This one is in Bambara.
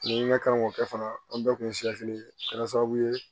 Ne ka kan k'o kɛ fana an bɛɛ kun ye a kɛra sababu ye